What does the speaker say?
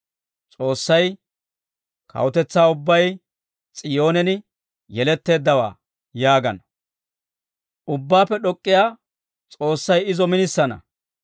S'oossay, «Kawutetsaa ubbay S'iyoonen yeletteeddawaa» yaagana. Ubbaappe D'ok'k'iyaa S'oossay izo minisana.